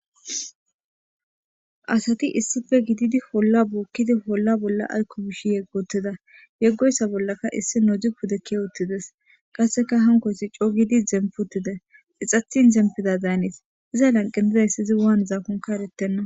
Asati issippe gididi holla bookidi holla bolli aykko miishshi yeggi wotida. Yegoyssa bollakka issi pude keyi uttidees. Qassekka hankkoyssi coo gidi zemppi utidees. Ixxetin zemppida daanees. Iza lanqqen dizayssi hiza wanizaakonkka eretenna.